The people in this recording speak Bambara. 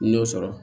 N y'o sɔrɔ